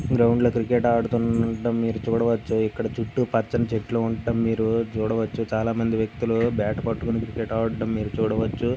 Ground లో cricket ఆడుతుండడం చూడవచ్చు ఇక్కడ చుట్టూ పచ్చని చెట్లు ఉన్నాయి చాలా మంది వ్యక్తులు బాట్ పట్టుకొని క్రికెట్ ఆడడం మీరు చూడవచ్చు.